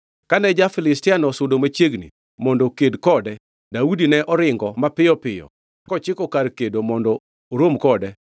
Kane ja-Filistiano osudo machiegni mondo oked kode, Daudi ne oringo mapiyo piyo kochiko kar kedo mondo orom kode.